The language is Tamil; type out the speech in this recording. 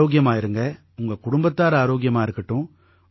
நீங்க ஆரோக்கியமா இருங்க உங்க குடும்பத்தார் ஆரோக்கியமா இருக்கட்டும்